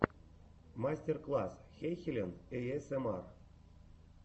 мастер класс хэйхелен эйэсэмар